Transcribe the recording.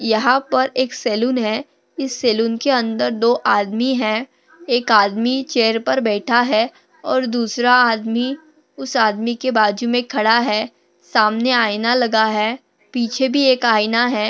यहा पर एक सलून है इस सलून के अंदर दो आदमी है एक आदमी चेयर पे बैठा है और दूसरा आदमी उस आदमी के बाजू मे खड़ा है सामने आईना लगा है पीछे भी एक आईना है।